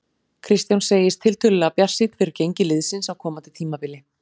Kristján segist tiltölulega bjartsýnn fyrir gengi liðsins á komandi tímabili.